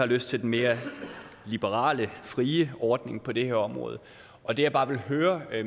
lyst til den mere liberale frie ordning på det her område og det jeg bare vil høre